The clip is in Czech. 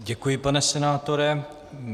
Děkuji, pane senátore.